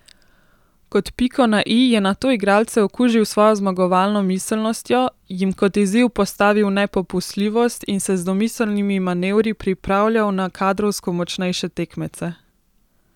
Kot piko na i je nato igralce okužil s svojo zmagovalno miselnostjo, jim kot izziv postavil nepopustljivost in se z domiselnimi manevri pripravljal na kadrovsko močnejše tekmece.